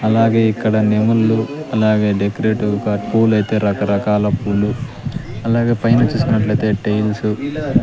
అలాగే ఇక్కడ నెమలులు అలాగే డెకొరేటివ్ గా పూలైతే రకరకాల పూలు అలాగే పైన చూసినట్లైతే టైల్సు --